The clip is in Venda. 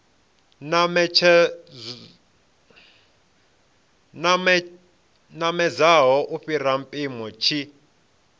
namedzaho u fhira mpimo tshi